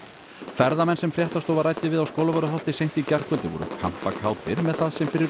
ferðamenn sem fréttastofa ræddi við á Skólavörðuholti seint í gærkvöldi voru kampakátir með það sem fyrir